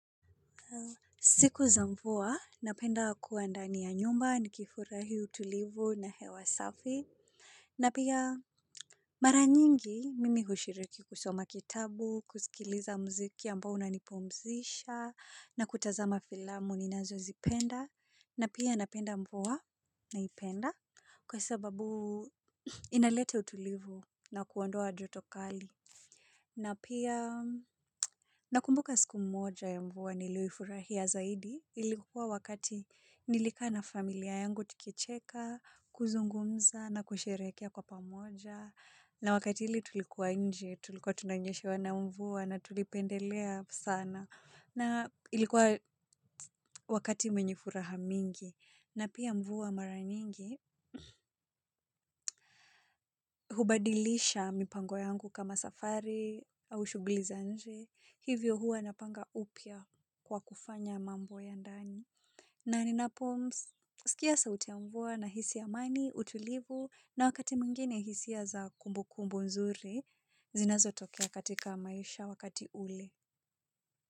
Siku za mvua, napenda kua ndani ya nyumba ni kifurahi utulivu na hewa safi. Na pia mara nyingi, mimi hushiriki kusoma kitabu, kusikiliza mziki ambao una nipumzisha, na kutazama filamu ni nazo zipenda. Na pia napenda mvua na ipenda, kwa sababu inaleta utulivu na kuondoa joto kali. Na pia nakumbuka siku mmoja ya mvua niliifurahia zaidi ilikuwa wakati nilikaa na familia yangu tukicheka, kuzungumza na kusherekea kwa pamoja. Na wakati ile tulikuwa nji, tulikuwa tunanyeshewa na mvua na tulipendelea sana na ilikuwa wakati mwenye furaha mingi. Na pia mvua mara nyingi hubadilisha mipango yangu kama safari au shugli za nje. Hivyo hua napanga upya kwa kufanya mambo ya ndani. Na ninapo msikia sauti ya mvua nahisi amani, utulivu na wakati mwingine hisia za kumbu kumbu nzuri zinazo tokea katika maisha wakati ule.